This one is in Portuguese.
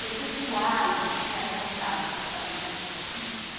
Perpetuar isso, que é essa vontade que eu falei, né?